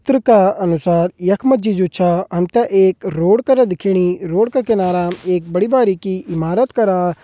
चित्र का अनुसार यख मा जी जु छा हम ते एक रोड करा दिखेणी रोड का किनाराम एक बड़ी बारिकी इमारत करा।